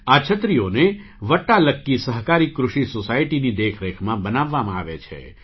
આ છત્રીઓને 'વટ્ટાલક્કી સહકારી કૃષિ સૉસાયટી'ની દેખરેખમાં બનાવવામાં આવે છે